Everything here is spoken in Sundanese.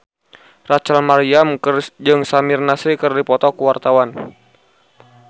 Rachel Maryam jeung Samir Nasri keur dipoto ku wartawan